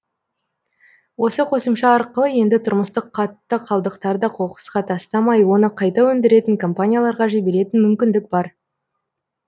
осы қосымша арқылы енді тұрмыстық қатты қалдықтарды қоқысқа тастамай оны қайта өндіретін компанияларға жіберетін мүмкіндік бар